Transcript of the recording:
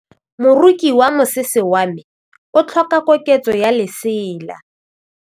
Moroki wa mosese wa me o tlhoka koketsô ya lesela.